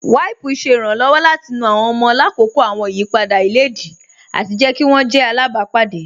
Wípùú ṣẹ̀ ìrànlọ́wọ̀ láti nú àwọn ọ̀mọ̀ làkọ́kọ́ àwọn ìyìpadà ilẹ̀díì ati jẹ̀ kí wọn jẹ̀ àlábàpádé.